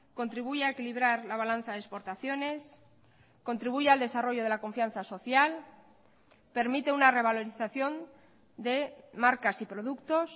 contribuye a equilibrar la balanza de exportaciones contribuye al desarrollo de la confianza social permite una revalorización de marcas y productos